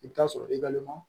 I bɛ taa sɔrɔ i ka lemuru